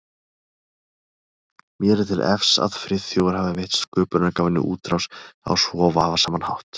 Mér er til efs að Friðþjófur hafi veitt sköpunargáfunni útrás á svo vafasaman hátt.